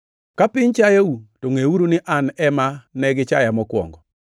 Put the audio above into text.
“Ka piny chayou, to ngʼeuru ni an ema ne gichaya mokwongo.